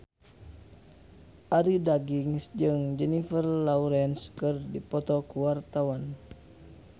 Arie Daginks jeung Jennifer Lawrence keur dipoto ku wartawan